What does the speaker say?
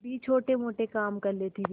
भी छोटेमोटे काम कर लेती थी